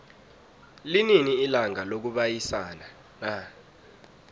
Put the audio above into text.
linini ilanga lokubayisana na